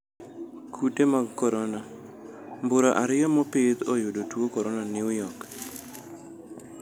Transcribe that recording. Kute mag korona: mbura ariyo mopidh oyudo tuo korona New York